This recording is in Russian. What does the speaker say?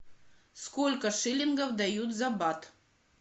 сколько шиллингов дают за бат